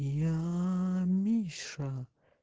я миша